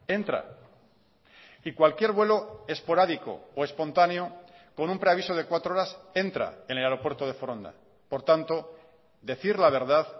entra y cualquier vuelo esporádico o espontáneo con un preaviso de cuatro horas entra en el aeropuerto de foronda por tanto decir la verdad